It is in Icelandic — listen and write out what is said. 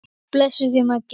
Guð blessi þig, Maggi.